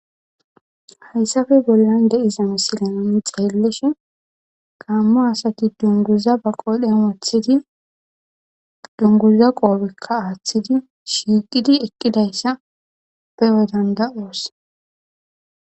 Haysape bollan de'iza misile nu xelishi Gamo asati dunguza ba qodhen wothidi dunguza qofeka athidi shiqid eqidaysa beyo danda'os